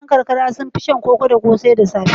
Mutanen karkara sun fi shan koko da ƙosai da safe.